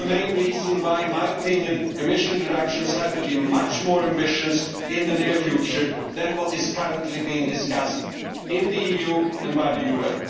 This is the main reason why, in my opinion, emission reductions have to be much more ambitious in the near future than what is currently being discussed in the EU and by the UN.